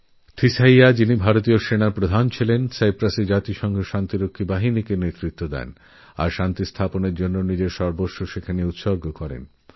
ভারতীয় সেনার পূর্বপ্রধানজেনারেল থিমৈয়্যা সাইপ্রাসএ রাষ্ট্রসঙ্ঘের শান্তিরক্ষা বাহিনীর নেতৃত্ব দেন এবংশান্তিস্থাপনে নিজের সর্বস্ব নিয়োজিত করেন